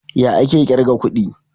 Ya ake kirga kuɗi?